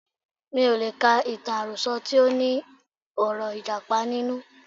Mi ò lè ka ìtàn àròsọ tí óní ọ̀rọ̀ Ìjàpá nínú.